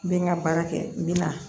N bɛ n ka baara kɛ n bɛ na